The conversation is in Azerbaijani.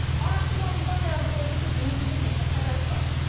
Araşdırmamızdan məlum oldu ki, bunun bir neçə səbəbi var.